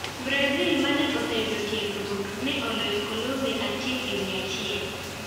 Brazil, ma ne oseyudo tiegruok, ne oloyo Colombia 1 - 1.